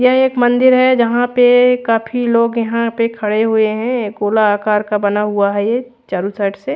ये एक मंदिर है जहाँ पे काफी लोग यहाँ पे खड़े हुए है गोलाकार का बना हुआ है ये चारो साइड से--